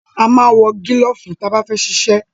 A máa ń wọ gílọ̀fù ta bá fẹ́ ṣiṣẹ́.